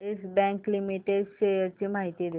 yes Bank Limited shares ची माहिती दे